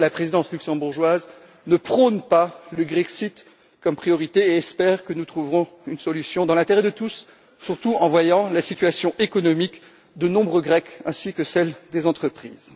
En tout cas, la présidence luxembourgeoise ne prône pas le Grexit comme priorité et espère que nous trouverons une solution dans l'intérêt de tous, surtout en voyant la situation économique de nombreux Grecs ainsi que celle des entreprises.